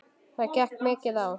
Það gekk mikið á.